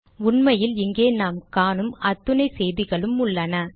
உண்மையில் இங்கே நாம் காணும் அத்துணை செய்திகளும் உள்ளன